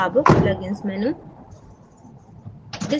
अब pluginsमेनू